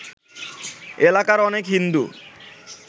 এলাকার অনেক হিন্দু